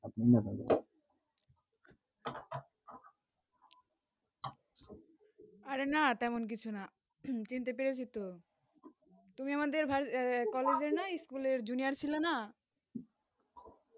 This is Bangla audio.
অরে না তেমন কিছু না চিনতে পেরে চি তো তুমি আমাদের college এর না school এ junior ছিলে না